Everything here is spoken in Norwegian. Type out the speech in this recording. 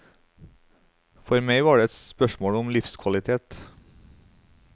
For meg var det et spørsmål om livskvalitet.